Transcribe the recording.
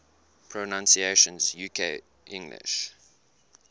pronunciations uk english